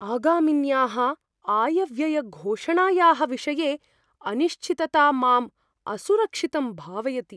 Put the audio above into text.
आगामिन्याः आयव्ययघोषणायाः विषये अनिश्चितता माम् असुरक्षितं भावयति।